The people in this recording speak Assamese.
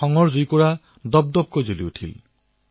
ক্ৰোধত তেওঁ উত্তপ্ত হৈ পৰিছিল